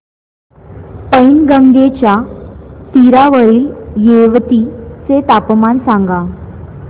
पैनगंगेच्या तीरावरील येवती चे तापमान सांगा